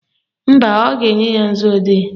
Mba, ọ ga-enye ka nzuodee